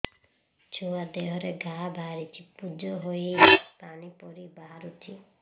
ଛୁଆ ଦେହରେ ଘା ବାହାରିଛି ପୁଜ ହେଇ ପାଣି ପରି ବାହାରୁଚି